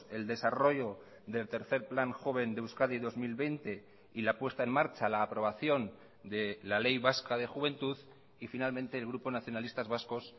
el desarrollo del tercer plan joven de euskadi dos mil veinte y la puesta en marcha la aprobación de la ley vasca de juventud y finalmente el grupo nacionalistas vascos